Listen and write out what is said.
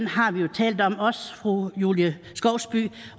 har vi jo talt om også fru julie skovsby